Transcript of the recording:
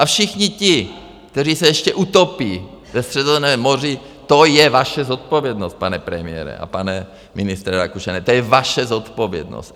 A všichni ti, kteří se ještě utopí ve Středozemním moři, to je vaše zodpovědnost, pane premiére a pane ministře Rakušane, to je vaše zodpovědnost.